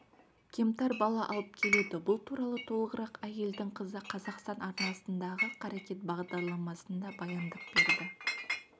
кемтар бала алып келеді бұл туралы толығырақ әйелдің қызы қазақстан арнасындағы қарекет бағдарламасында баяндап берді